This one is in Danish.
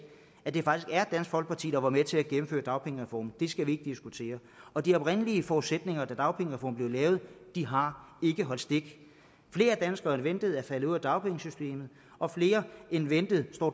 at det faktisk er dansk folkeparti der var med til at gennemføre dagpengereformen det skal vi ikke diskutere og de oprindelige forudsætninger da dagpengereformen blev lavet har ikke holdt stik flere danskere end ventet er faldet ud af dagpengesystemet og flere end ventet står